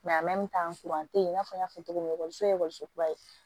an te yen i n'a fɔ n y'a fɔ cogo min na ye ekɔliso kura ye